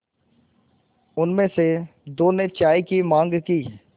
उनमें से दो ने चाय की माँग की